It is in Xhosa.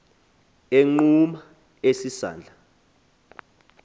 egquma esi sandla